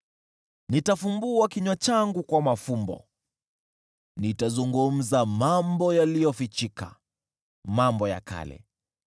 Nitafungua kinywa changu kwa mafumbo, nitazungumza mambo yaliyofichika, mambo ya kale: